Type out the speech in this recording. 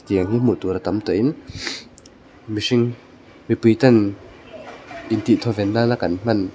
tiang hi hmuh tur a tam tawh in mihring mipui ten in tih thawven nana kan hman--